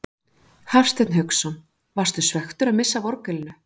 Hafsteinn Hauksson: Varstu svekktur að missa af orgelinu?